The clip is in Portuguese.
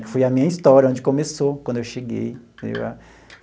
Que foi a minha história, onde começou, quando eu cheguei.